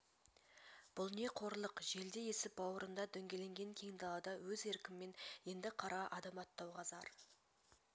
бұл не қорлық желдей есіп бауырында дөңгеленген кең далада өз еркімен енді қарға адым аттауға зар